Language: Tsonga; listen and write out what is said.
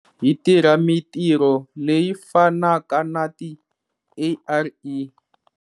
Hi tirha mitirho leyi fanaka na ti-ARE.